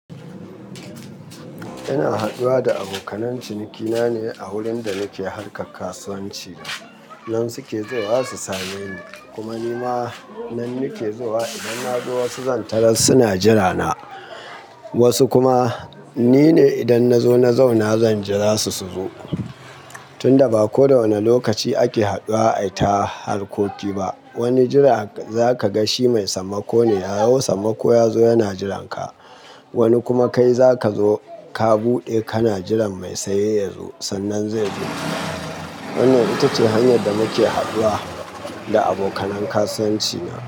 Ina haduwa da abokan cinikina ne a wurin da nake harka kasuwanci. Nan suke zuwa su same ni kuma ni ma nan nake zuwa. Idan na zo wasu zantaran suna jirana, wasu kuma nine idan na zo na zauna zan jira su su zo. Tunda ba kowane lokaci ake haduwa a ta harkoki ba, wani jira za ka ga shi mai sammako ne. Yayi sammako ya zo yana jiranka. Wani kuma kai za ka zo ka buɗe kana jiran mai saye yazo sannan zai zo. Wannan ita ce hanyar da muke haduwa da abokanin kasuwanci na.